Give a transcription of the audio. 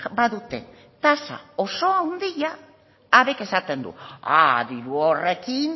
badute tasa oso handia habek esaten du diru horrekin